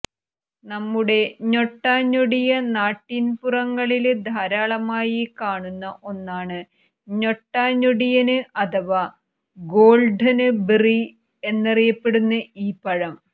നമ്മുടെ ഞൊട്ടാഞൊടിയ നാട്ടിന്പുറങ്ങളില് ധാരാളമായി കാണുന്ന ഒന്നാണ് ഞൊട്ടാഞൊടിയന് അഥവാ ഗോള്ഡന് ബെറി എന്നറിയപ്പെടുന്ന ഈ പഴം